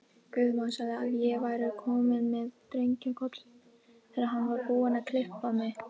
Guðmann sagði að ég væri komin með drengjakoll, þegar hann var búinn að klippa mig.